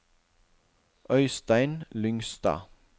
Øistein Lyngstad